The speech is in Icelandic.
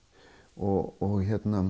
og